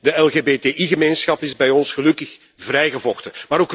De LGBTI gemeenschap is bij ons gelukkig vrijgevochten.